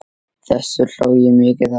Þessu hló ég mikið að.